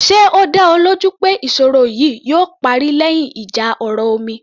Ṣe ó dá ọ lójú pé ìṣòro yìí yóò parí lẹ́yìn ìjà ọ̀rọ̀ omi